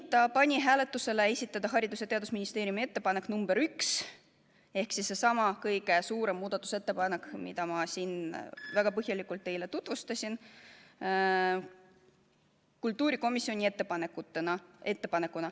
Ta pani hääletusele esitada Haridus- ja Teadusministeeriumi ettepanek nr 1 ehk siis seesama kõige suurem muudatusettepanek, mida ma siin väga põhjalikult teile tutvustasin, kultuurikomisjoni ettepanekuna.